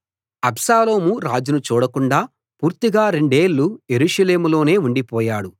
అబ్షాలోము రాజును చూడకుండా పూర్తిగా రెండేళ్ళు యెరూషలేములోనే ఉండిపోయాడు